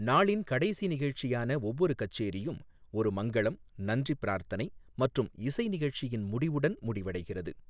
நாளின் கடைசி நிகழ்ச்சியான ஒவ்வொரு கச்சேரியும், ஒரு மங்களம், நன்றி பிரார்த்தனை மற்றும் இசை நிகழ்ச்சியின் முடிவுடன் முடிவடைகிறது.